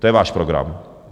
To je váš program.